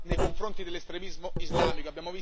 nei confronti dell'estremismo islamico.